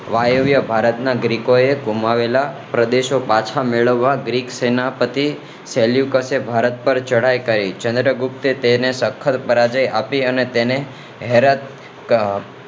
વાયવ્ય ભારત ના લોકો એ ગુમાવેલા પ્રદેશો પાછા મેળવવા ગ્રીક સેનાપતિ સેલ્યુકસ એ ભારત પર ચઢાઈ કરી ચંદ્રગુપ્તે તેને સખત પરાજય આપી અને હૈરત આહ